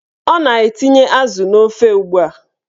Ọ na-etinye azụ n'ofe ugbua